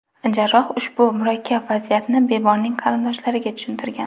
Jarroh ushbu murakkab vaziyatni bemorning qarindoshlariga tushuntirgan.